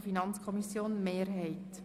der FiKo-Mehrheit.